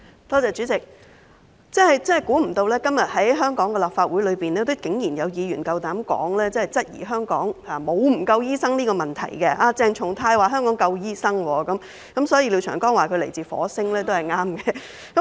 代理主席，我真的沒想到在今時今日的立法會裏，竟然還有議員夠膽質疑香港是否有醫生不足的問題，鄭松泰議員剛才說香港有足夠醫生，所以廖長江議員說他來自火星，說得真對。